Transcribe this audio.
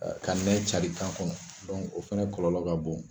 Ka nɛn cari kan kɔnɔ o fana kɔlɔlɔ ka bon.